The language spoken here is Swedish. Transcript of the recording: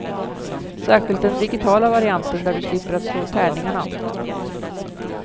Särskilt den digitala varianten där du slipper att slå tärningarna.